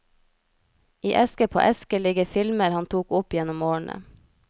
I eske på eske ligger filmer han tok opp gjennom årene.